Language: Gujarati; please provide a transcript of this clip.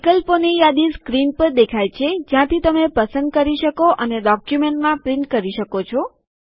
વિકલ્પોની યાદી સ્ક્રીન પર દેખાય છે જ્યાંથી તમે પસંદ કરી શકો અને ડોક્યુમેન્ટમાં પ્રિન્ટ કરી શકો છો